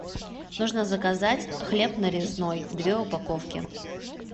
нужно заказать хлеб нарезной две упаковки